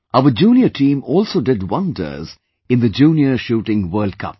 Our junior team also did wonders in the Junior Shooting World Cup